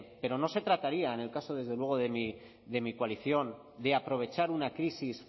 pero no se trataría en el caso desde luego de mi coalición de aprovechar una crisis